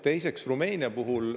Teiseks, Rumeenia.